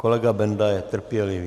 Kolega Benda je trpělivý.